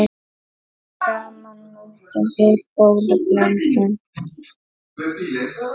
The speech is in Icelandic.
Saman myndum við góða blöndu.